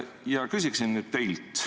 Ja küsin nüüd teilt.